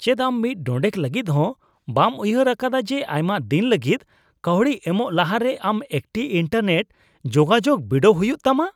ᱪᱮᱫ ᱟᱢ ᱢᱤᱫ ᱰᱚᱸᱰᱮᱠ ᱞᱟᱹᱜᱤᱫ ᱦᱚᱸ ᱵᱟᱢ ᱩᱭᱦᱟᱹᱨ ᱟᱠᱟᱫᱟ ᱡᱮ ᱟᱭᱢᱟ ᱫᱤᱱ ᱞᱟᱹᱜᱤᱫ ᱠᱟᱹᱣᱰᱤ ᱮᱢᱚᱜ ᱞᱟᱦᱟᱨᱮ ᱟᱢ ᱮᱠᱴᱤ ᱤᱱᱴᱟᱨᱱᱮᱴ ᱡᱳᱜᱟᱡᱳᱜ ᱵᱤᱰᱟᱹᱣ ᱦᱩᱭᱩᱜᱼᱟ ᱛᱟᱢᱟ ?